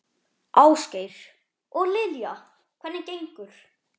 Ásgeir: Og Lilja, hvernig gengur?